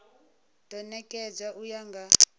do nekedzwa u ya nga